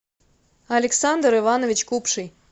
александр иванович купший